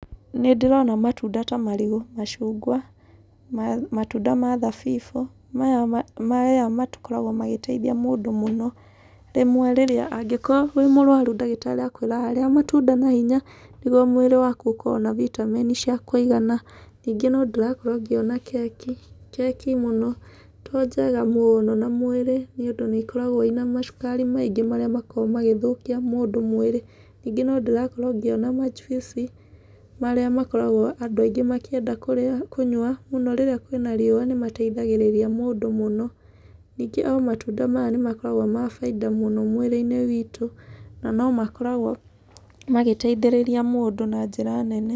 Nĩ ndĩrona matunda ta marigũ, macungwa, matunda ma thabibũ, maya makoragwo magĩteithia mũndũ mũno. Rĩmwe rĩrĩa, angĩkorwo wĩ mũrwaru ndagĩtarĩ akwĩraga, rĩa matunda na hinya nĩguo mwĩrĩ waku ũkorwo na vitamini cia kũigana. Ningĩ no ndĩrakorwo ngĩona keki, keki mũno to njega mũno na mwĩrĩ nĩũndũ nĩikoragwo ina macukari maingĩ marĩa makoragwo magĩthũkia mũndũ mwĩrĩ. Ningĩ no ndĩrakorwo ngĩona manjuici marĩa makoragwo andũ aingĩ makĩenda kũrĩa, kũnyua rĩrĩa mũno kwĩna riũa nĩ mateithagigĩrĩria mũndũ mũno. Ningĩ o matunda maya nĩmakoragwo ma bainda mũno mũno mwĩrĩ-inĩ witũ na no makoragwo magĩteithĩrĩria mũndũ na njĩra nene.